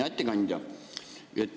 Hea ettekandja!